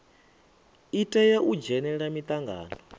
i tea u dzhenela mitangano